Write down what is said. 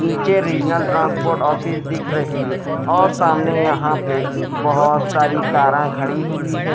नीचे regional transport office दिख रही है और सामने यहां पे बहुत सारी कारें खड़ी हुई है।